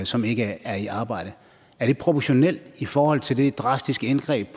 som ikke er i arbejde er det proportionalt i forhold til det drastiske indgreb